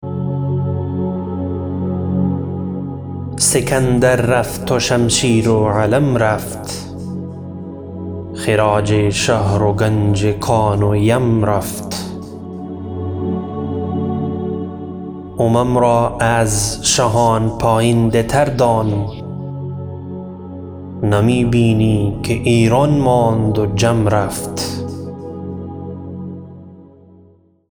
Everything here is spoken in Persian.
سکندر رفت و شمشیر و علم رفت خراج شهر و گنج کان و یم رفت امم را از شهان پاینده تر دان نمی بینی که ایران ماند و جم رفت